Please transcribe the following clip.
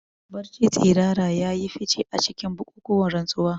Barci tsirara ya yi fice a cikin bukukuwan rantsuwa.